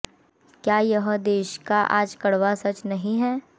क्या यह देश का आज कड़वा सच नहीं है